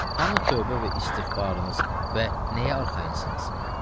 Hanı tövbə və istiğfarınız və nəyə arxayınsınız?